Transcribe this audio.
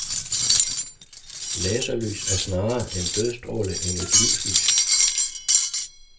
Laserlys er snarere en dødsstråle end et livslys.